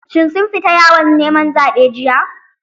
Shin sun fita yawon neman zaɓe jiya?